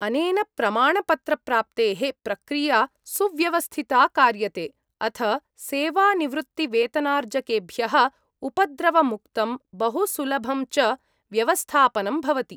अनेन प्रमाणपत्रप्राप्तेः प्रक्रिया सुव्यवस्थिता कार्यते, अथ सेवानिवृत्तिवेतनार्जकेभ्यः उपद्रवमुक्तं बहुसुलभं च व्यवस्थापनं भवति।